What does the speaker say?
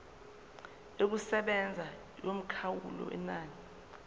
yokusebenza yomkhawulo wenani